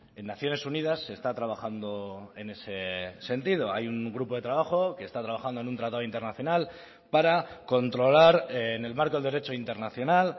en naciones unidas se está trabajando en ese sentido hay un grupo de trabajo que está trabajando en un tratado internacional para controlar en el marco del derecho internacional